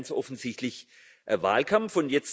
Wir haben ganz offensichtlich Wahlkampf.